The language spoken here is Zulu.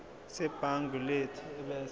sebhangi lethu ebese